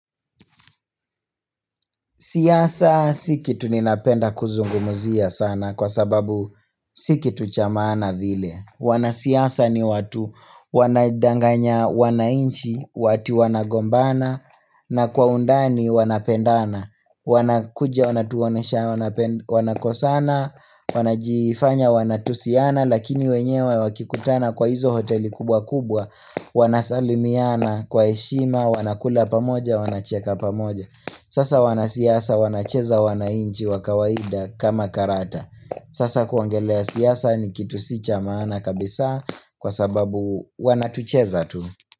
Siasa si kitu ninapenda kuzungumuzia sana kwa sababu si kitu cha maana vile. Wanasiasa ni watu wanadanganya, wanainchi, ati wanagombana, na kwa undani wanapendana. Wanakuja wanatuonesha wanakosana wanajifanya wanatusiana lakini wenyewe wakikutana kwa hizo hoteli kubwa kubwa, wanasalimiana kwa heshima, wanakula pamoja, wanacheka pamoja. Sasa wanasiasa wanacheza wanainchi wakawaida kama karata Sasa kuongelea siasa ni kitu sicha maana kabisa kwa sababu wanatucheza tu.